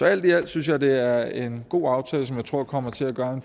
alt i alt synes jeg det er en god aftale som jeg tror kommer til at gøre